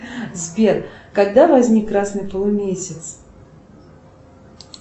сбер когда возник красный полумесяц